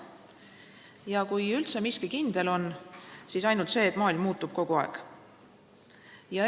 Ja kui üldse miski kindel on, siis ainult see, et maailm kogu aeg muutub.